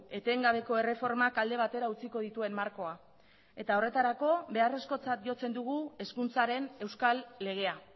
etengabeko erreformak alde batera utziko dituen markoa eta horretarako beharrezkotzat jotzen dugu hezkuntzaren euskal legea